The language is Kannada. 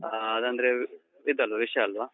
ಹಾ, ಹಾಗಂದ್ರೆ ಇದಲ್ವ ವಿಷ ಅಲ್ವಾ?